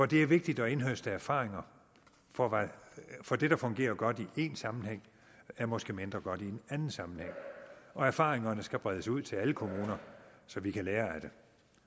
det er vigtigt at indhøste erfaringer for for det der fungerer godt i én sammenhæng er måske mindre godt i en anden sammenhæng og erfaringerne skal bredes ud til alle kommuner så vi kan lære af det